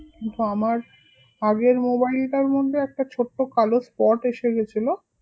কিন্তু আমার আগের mobile টার মধ্যে একটা ছোট্ট কালো spot এসে গেছিলো